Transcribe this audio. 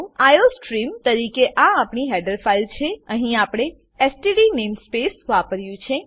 iostream તરીકે આ આપણી હેડર ફાઈલ છે અહીં આપણે એસટીડી નેમસ્પેસ વાપર્યું છે